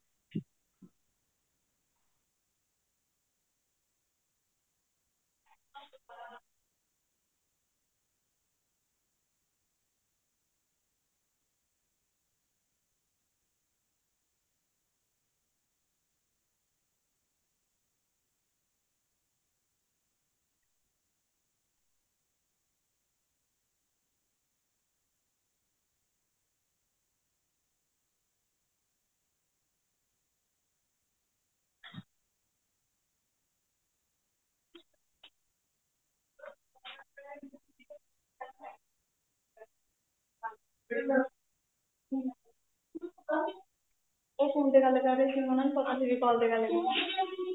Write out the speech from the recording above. ਇਹ phone ਤੇ ਗੱਲ ਕਰ ਰਹੇ ਸੀ ਉਹਨਾ ਨੂੰ ਪਤਾ ਨੀਂ ਸੀ ਵੀ call ਤੇ ਗੱਲ ਕੀਤੀ ਏ